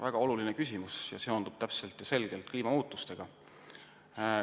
Väga oluline küsimus ja seondub selgelt kliimamuutustega.